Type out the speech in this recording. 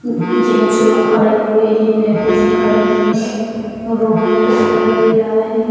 Gents लोग खड़े हुए हैं लेडीजे खड़ी हैं रोड दिखाई दे रहा है।